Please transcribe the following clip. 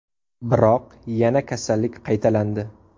Biroq yana kasallik qaytalandi.